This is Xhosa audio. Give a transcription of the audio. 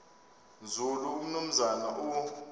nzulu umnumzana u